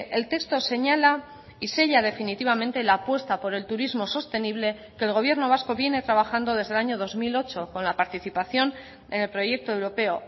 el texto señala y sella definitivamente la apuesta por el turismo sostenible que el gobierno vasco viene trabajando desde el año dos mil ocho con la participación en el proyecto europeo